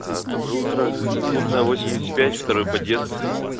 доброе утро клубная восемьдесят пять второй подъезд